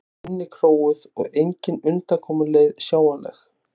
vera innikróuð og engin undankomuleið sjáanleg.